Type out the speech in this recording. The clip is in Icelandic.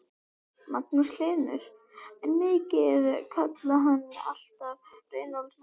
Magnús Hlynur: En þið kallið hann alltaf Reykdal Mána?